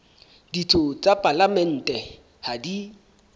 ditho tsa palamente ha di